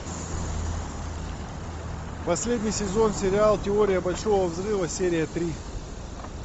последний сезон сериал теория большого взрыва серия три